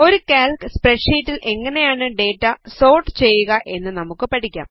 ഒരു കാൽക് സ്പ്രെഡ് ഷീറ്റിൽ എങ്ങനെയാണ് ഡേറ്റ സോർട്ട് ചെയ്യുക എന്ന് നമുക്ക് പഠിക്കാം